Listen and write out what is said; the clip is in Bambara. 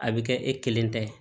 A bɛ kɛ e kelen ta ye